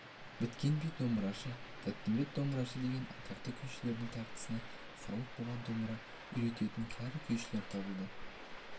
біткенбай домбырашы тәттімбет домбырашы деген атақты күйшілердің тартысына салып бұған домбыра үйрететін кәрі күйшілер табылды